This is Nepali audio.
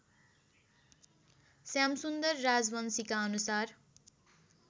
श्यामसुन्दर राजवंशीका अनुसार